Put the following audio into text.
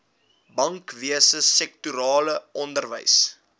bankwese sektorale onderwys